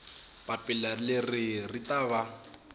papila leri ri ta va